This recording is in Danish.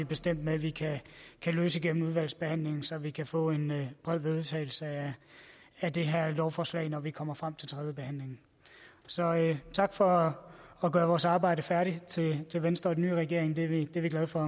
bestemt med vi kan løse gennem udvalgsbehandlingen så vi kan få en bred vedtagelse af det her lovforslag når vi kommer frem til tredjebehandlingen så tak for at gøre vores arbejde færdigt til venstre og den nye regering det er vi glade for